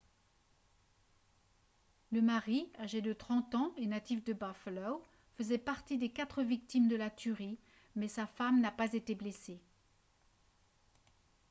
le mari âgé de 30 ans et natif de buffalo faisait partie des quatre victimes de la tuerie mais sa femme n'a pas été blessée